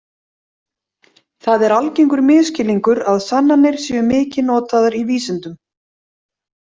Það er algengur misskilningur að sannanir séu mikið notaðar í vísindum.